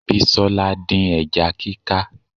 Bisola dín ẹja kíká